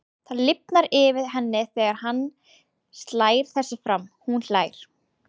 Það lifnar yfir henni þegar hann slær þessu fram, hún hlær.